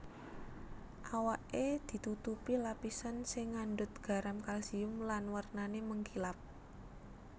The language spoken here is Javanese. Awaké ditutupi lapisan sing ngandhut garam kalsium lan wernané mengkilap